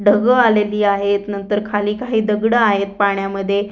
ढग आलेली आहेतनंतर खाली काही दगड आहेत पाण्यामध्ये.